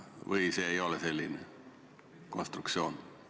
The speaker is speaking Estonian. Või ei ole see selline konstruktsioon?